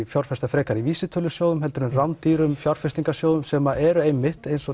fjárfesta frekar í vísitölusjóðum heldur en rándýrum fjárfestingarsjóðum sem eru einmitt eins og